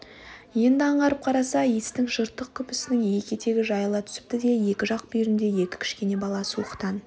енді аңғарып қараса иістің жыртық күпісінің екі етегі жайыла түсіпті де екі жақ бүйіріңде екі кішкене бала суықтан